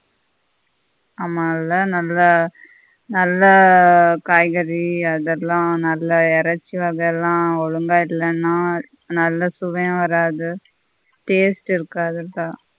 ஆமா இல்ல நல்ல நல்ல காய்கறி அதெல்லாம் நல்ல இறைச்சி வகையெல்லாம் ஒழுங்கா இல்லேன்னா நல்ல சுவையும் வராது taste இருக்காது அதுதான்